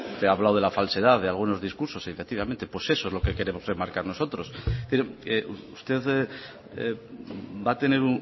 usted ha hablado de la falsedad de algunos discursos efectivamente pues eso es lo que queremos remarcar nosotros usted va a tener